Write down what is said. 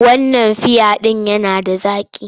Wannan fiya ɗin yana da zaƙi.